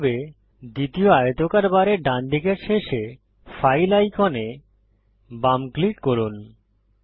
একইভাবে দ্বিতীয় আয়তকার বারের ডানদিকের শেষে ফাইল আইকনে বাম ক্লিক করুন